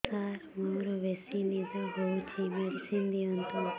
ସାର ମୋରୋ ବେସି ନିଦ ହଉଚି ମେଡିସିନ ଦିଅନ୍ତୁ